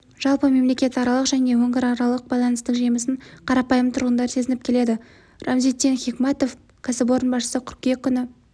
жалпы мемлекетаралық және өңіраралық байланыстың жемісін қарапайым тұрғындар сезініп келеді рамзитдин хикматов кәсіпорын басшысы қыркүйек күні